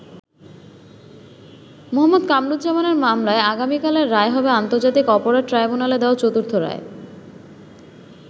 মুহাম্মদ কামারুজ্জামানের মামলায় আগামিকালের রায় হবে আন্তর্জাতিক অপরাধ ট্রাইব্যুনালের দেওয়া চতুর্থ রায়।